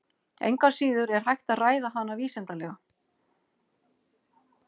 Engu að síður er hægt að ræða hana vísindalega.